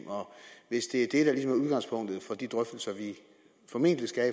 hvis det er det er udgangspunktet for de drøftelser vi formentlig skal